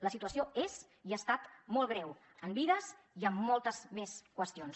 la situació és i ha estat molt greu en vides i en moltes més qüestions